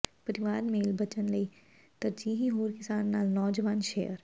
ਪਰਿਵਾਰ ਮੇਲ ਬਚਣ ਲਈ ਤਰਜੀਹੀ ਹੋਰ ਕਿਸਾਨ ਨਾਲ ਨੌਜਵਾਨ ਸ਼ੇਅਰ